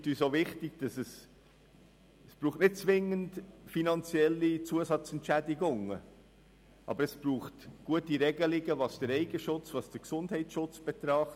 Es scheint uns wichtig, darauf hinzuweisen, dass es nicht zwingend finanzielle Zusatzentschädigungen braucht, sondern gute Regelungen, was den Eigenschutz und den Gesundheitsschutz betrifft.